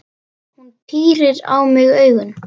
Hún pírir á mig augun.